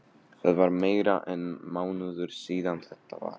Það var meira en mánuður síðan þetta var.